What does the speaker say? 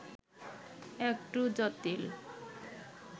একটু জটিল